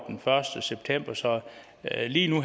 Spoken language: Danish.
den første september så lige nu